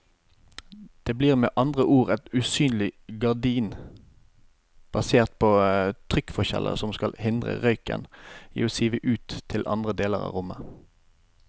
Det blir med andre ord et usynlig gardin basert på trykkforskjeller som skal hindre røyken i å sive ut til andre deler av rommet.